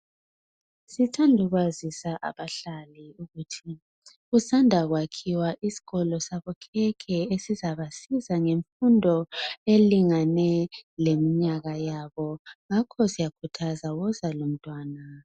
Sithanda ukwazisa abahlali kusanda kwakhiwa isikolo sabokhekhe esizabasiza ngemfundo ehambelana leminyaka yabo ngakho siyakhuthaza woza lomntwana.